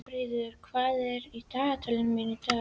Valfríður, hvað er í dagatalinu mínu í dag?